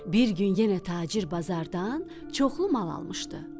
Bir gün yenə tacir bazardan çoxlu mal almışdı.